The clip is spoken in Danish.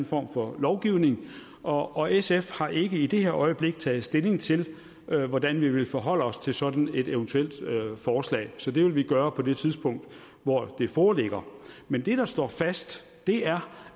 form for lovgivning og sf har ikke i det her øjeblik taget stilling til hvordan vi vil forholde os til et sådant eventuelt forslag så det vil vi gøre på det tidspunkt hvor det foreligger men det der står fast er